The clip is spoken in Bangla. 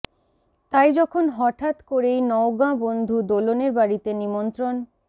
তাই যখন হঠাৎ করেই নওগাঁ বন্ধু দোলনের বাড়িতে নিমন্ত্রণ